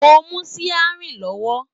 Mo n mú siarin lọwọ.